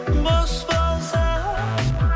бос болса